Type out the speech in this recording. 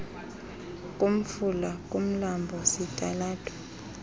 kumfula kumlambo kwisitalato